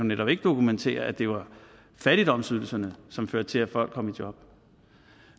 netop ikke dokumentere at det var fattigdomsydelserne som førte til at folk kom i job